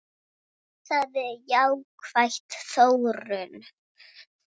Það er jákvæð þróun.